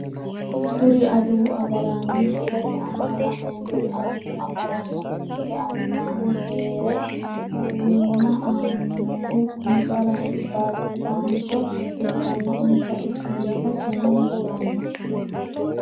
Kuri adawu agaraano misilete aana la`neemori adawu agaraano ikite albaani heere quwiyna aaninohu insara albisaancho ikkana insa isi yiita sumuu yitano.